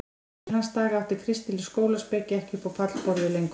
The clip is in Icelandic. Eftir hans daga átti kristileg skólaspeki ekki upp á pallborðið lengur.